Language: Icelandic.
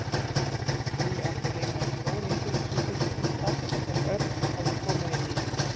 Lúlli átti heima í stóru einbýlishúsi, því stærsta sem Örn hafði komið inn í.